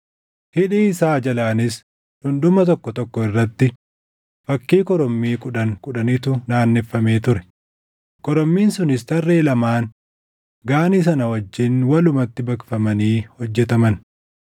Hidhii isaa jalaanis dhundhuma tokko tokko irratti fakkii korommii kudhan kudhanitu naanneffamee ture. Korommiin sunis tarree lamaan Gaanii sana wajjin walumatti baqfamanii hojjetaman.